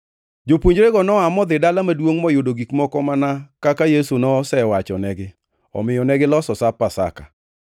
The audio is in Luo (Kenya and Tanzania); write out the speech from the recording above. Jopuonjrego noa modhi Dala maduongʼ moyudo gik moko mana kaka Yesu nosewachonegi. Omiyo negiloso Sap Pasaka.